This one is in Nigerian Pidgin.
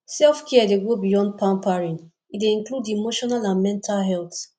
selfcare dey go beyond pampering e dey include emotional and mental health